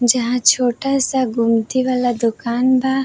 जहां छोटा सा गुमटी वाला दुकान बा।